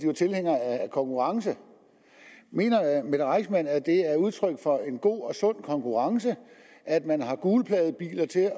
var tilhænger af konkurrence mener mette reissmann at det er udtryk for en god og sund konkurrence at man har gulpladebiler til